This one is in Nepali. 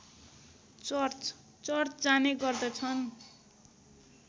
चर्च जाने गर्दछन्